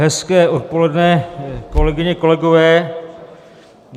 Hezké odpoledne, kolegyně, kolegové.